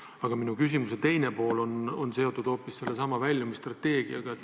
Aga minu küsimuse teine pool on seotud hoopis sellesama väljumisstrateegiaga.